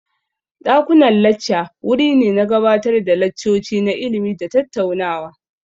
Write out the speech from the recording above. Dakunan lacca wuri ne na gabatar da laccoci na ilimi da tattaunawa.